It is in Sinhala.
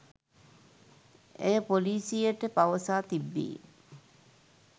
ඇය පොලීසියට පවසා තිබේ.